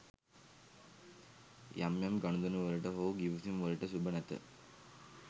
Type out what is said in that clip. යම් යම් ගනුදෙනු වලට හෝ ගිවිසුම් වලට ශුභ නැත.